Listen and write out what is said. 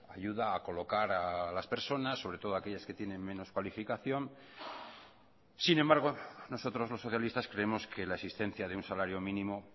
ayuda a colocar a las personas sobre todo a aquellas que tienen menos cualificación sin embargo nosotros los socialistas creemos que la existencia de un salario mínimo